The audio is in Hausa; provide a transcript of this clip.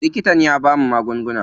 Likitan ya bamu magunguna.